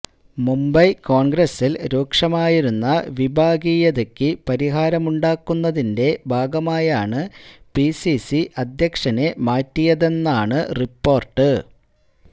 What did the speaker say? മുംബൈ കോൺഗ്രസിൽ രൂക്ഷമായിരുന്ന വിഭാഗീയതക്ക് പരിഹാരമുണ്ടാക്കുന്നതിന്റെ ഭാഗമായാണ് പിസിസി അധ്യക്ഷനെ മാറ്റിയതെന്നാണ് റിപ്പോർട്ട്